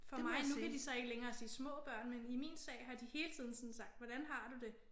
For mig nu kan de så ikke længere sige små børn men i min sag har de hele tiden sådan sagt hvordan har du det